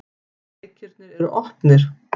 Leikirnir er opnir.